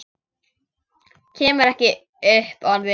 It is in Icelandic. Kemur ekki upp orði.